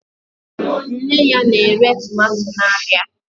Nne ya na-ere tomato n'ahịa